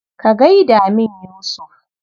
Ka gai da min Yusuf.